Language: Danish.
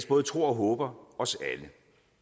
både tror og håber os alle